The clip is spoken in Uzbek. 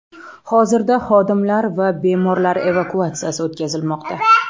Hozirda xodimlar va bemorlar evakuatsiyasi o‘tkazilmoqda.